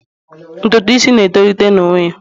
Ntutu isi na etolite n'onwe ya.